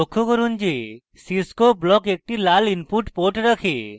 লক্ষ্য করুন যে cscope block একটি লাল input port রাখে